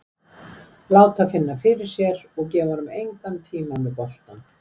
Láta finna fyrir sér og gefa honum engan tíma með boltann.